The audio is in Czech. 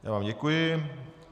Já vám děkuji.